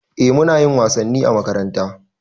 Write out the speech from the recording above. Eh munayin wasanni a makaranta